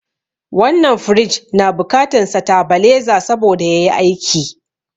Wannan firiji na bukatan satabaleza saboda yayi aiki